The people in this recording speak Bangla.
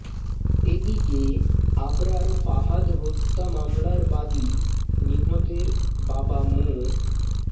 এদিকে আবরার ফাহাদ হত্যা মামলার বাদী নিহতের বাবা মো